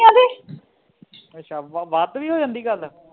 ਅੱਛਾ ਵੱਧ ਵੀ ਹੋ ਜਾਂਦੀ ਗੱਲ